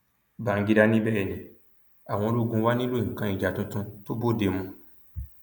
bangida ní bẹẹ ni àwọn ológun wá nílò nǹkan ìjà tuntun tó bóde mu